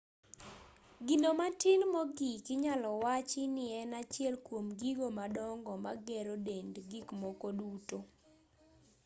gino matin mogik inyalo wachi nien achiel kuom gigo madongo magero dend gikmoko duto